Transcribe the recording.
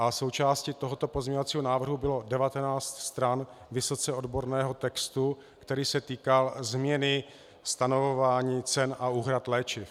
A součástí tohoto pozměňovacího návrhu bylo 19 stran vysoce odborného textu, který se týkal změny stanovování cen a úhrad léčiv.